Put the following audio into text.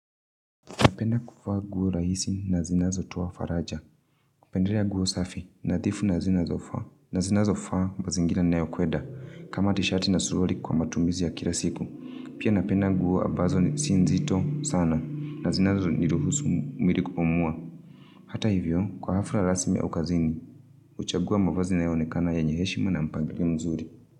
Napenda kuvaa nguo rahisi na zinazotoa faraja. Kupendelea nguo safi nadhifu na zinazofaa nazinazofaa mazingira ninayo kwenda kama tisheti na suruali kwa matumizi ya kila siku. Pia napenda nguo ambazo si nzito sana. Na zinazo niruhusu mwili kupumua. Hata hivyo kwa hafla rasmi au kazini. Huchagua mavazi yanayoonekana yenye heshima na mpangilio mzuri.